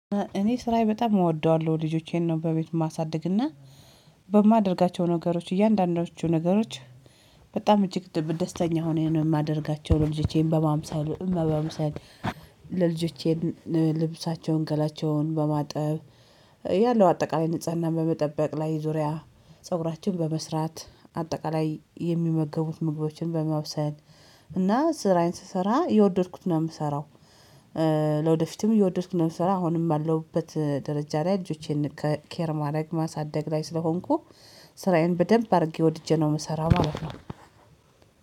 እኔ ስራየን በጣም እወደዋለሁ። ልጆቼን ነው በቤቱ የማሳድግ። ና በማደርጋቸው ነገሮች እያንዳንዳቸው ነገሮች በጣም እጅግ ደስተኛ ሆኘ ነው የማደርጋቸው። ለልጆቼን በማምሳሌ እመባምሳሌ ለልጆቼን ልብሳቸውን ገላቸውን በማጠብ- ያለው አጠቃላይ ንጽህና በመጠበቅ ላይ ዙሪያ :ፀጉራችን በመስራት: አጠቃላይ የሚመገቡት ምግቦችን በማብሰል እና ስራዬን ስሰራ እየወደድኩትን ነው የምሰራው። ለወደፊትም እየወደድኩትን ነው የምሰራው። አሁንም ባለውበት ደረጃ ላይ ልጆቼን ከኬር ማድረግ ማሳደግ ላይ ስለሆንኩ- ስራዬን በደንብ አድርጌ ወድጄ ነው የምሰራው ማለት ነው።